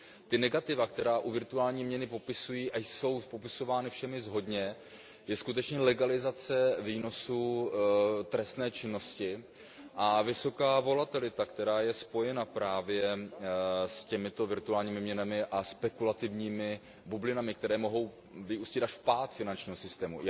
Ta negativa, která u virtuální měny jsou popisována všemi shodně, jsou skutečně legalizace výnosů trestné činnosti a vysoká volatilita, která je spojena právě s těmito virtuálními měnami a spekulativními bublinami, které mohou vyústit až v pád finančního systému.